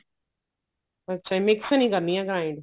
ਅੱਛਾ mix ਨੀ ਕਰਨੀਆਂ grind